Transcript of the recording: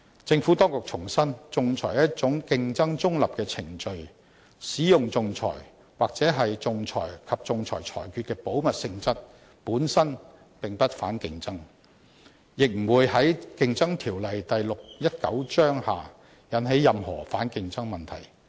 政府當局重申，仲裁是一種競爭中立的程序，使用仲裁、或仲裁及仲裁裁決的保密性質，本身並不反競爭，亦不會在《競爭條例》下引起任何反競爭問題。